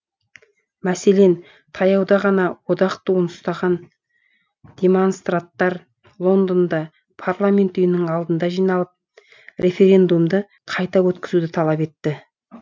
мәселен таяуда ғана одақ туын ұстаған демонстранттар лондонда парламент үйінің алдына жиналып референдумды қайта өткізуді талап етті